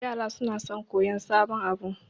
Yara sona son koyan sabon abu